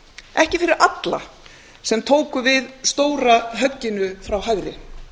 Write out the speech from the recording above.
ekki fyrir alla sem tóku við stóra högginu frá hægri